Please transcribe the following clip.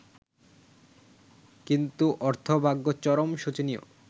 কিন্তু অর্থভাগ্য চরম শোচনীয়।